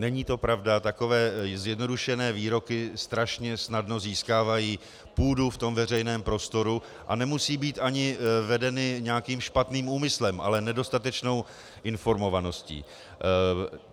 Není to pravda, takové zjednodušené výroky strašně snadno získávají půdu v tom veřejném prostoru, a nemusí být ani vedeny nějakým špatným úmyslem, ale nedostatečnou informovaností.